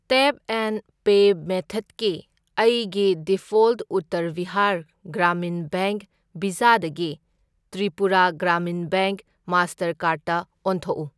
Tap and pay ꯃꯦꯊꯠꯀꯤ ꯑꯩꯒꯤ default Uttar Bihar Gramin Bank ꯚꯤꯖꯥꯗꯒꯤ ꯇ꯭ꯔꯤꯄꯨꯔꯥ ꯒ꯭ꯔꯥꯃꯤꯟ ꯕꯦꯡꯛ ꯃꯥꯁꯇꯔꯀꯥꯔ꯭ꯗꯇ ꯑꯣꯟꯊꯣꯛꯎ꯫